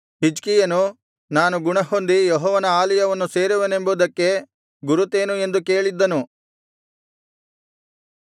ಹಿಜ್ಕೀಯನು ನಾನು ಗುಣಹೊಂದಿ ಯೆಹೋವನ ಆಲಯವನ್ನು ಸೇರುವೆನೆಂಬುದಕ್ಕೆ ಗುರುತೇನು ಎಂದು ಕೇಳಿದ್ದನು